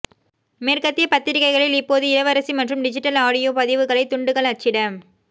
மேற்கத்திய பத்திரிகைகளில் இப்போது இளவரசி மற்றும் டிஜிட்டல் ஆடியோ பதிவுகளை துண்டுகள் அச்சிட